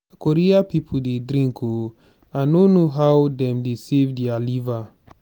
korea people dey drink ooo i no know how dem dey save their liver.